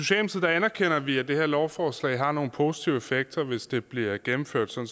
anerkender vi at det her lovforslag har nogle positive effekter hvis det bliver gennemført som